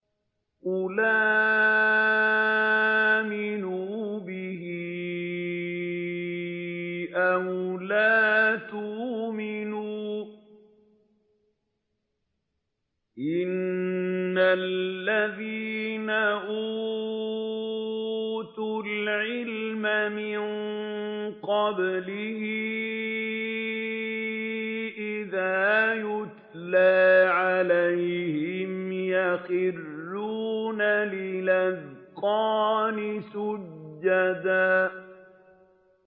قُلْ آمِنُوا بِهِ أَوْ لَا تُؤْمِنُوا ۚ إِنَّ الَّذِينَ أُوتُوا الْعِلْمَ مِن قَبْلِهِ إِذَا يُتْلَىٰ عَلَيْهِمْ يَخِرُّونَ لِلْأَذْقَانِ سُجَّدًا